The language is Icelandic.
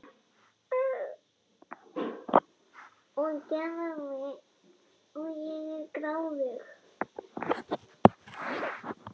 Og ég er gráðug.